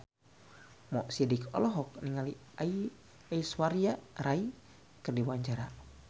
Mo Sidik olohok ningali Aishwarya Rai keur diwawancara